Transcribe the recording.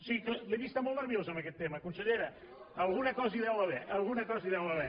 sí l’he vista molt nerviosa amb aquest tema consellera alguna cosa hi deu haver alguna cosa hi deu haver